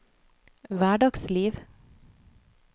hverdagsliv